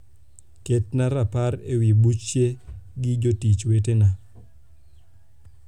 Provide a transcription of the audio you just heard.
ketna rapar ewi buche gi jotich wetena